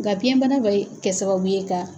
Ŋa biɲɛ bana bɛ kɛ sababu ye ka.